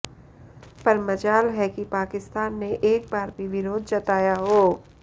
पर मजाल है कि पाकिस्तान ने एक बार भी विरोध जताया हो